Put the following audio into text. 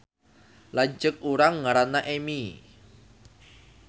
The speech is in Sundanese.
Lanceuk urang ngaranna Emi